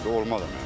Olmaz o.